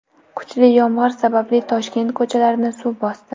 Kuchli yomg‘ir sababli Toshkent ko‘chalarini suv bosdi .